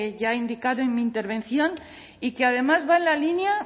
ya he indicado en mi intervención y que además va en la línea